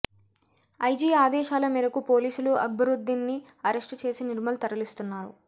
IG ఆదేశాల మేరకు పోలీసులు అక్బరుద్దీన్ ని అరెస్ట్ చేసి నిర్మల్ తరలిస్తున్నారు